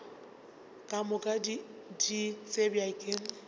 ka moka di tsebja ke